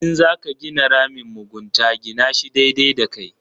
In za ka gina ramin mugunta gina shi daidai da kai.